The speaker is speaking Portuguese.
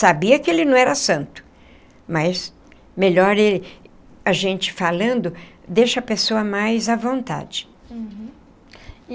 Sabia que ele não era santo, mas melhor a gente falando, deixa a pessoa mais à vontade. Uhum e.